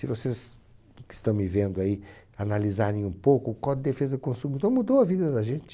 Se vocês que estão me vendo aí analisarem um pouco, o Código de Defesa do Consumidor mudou a vida da gente.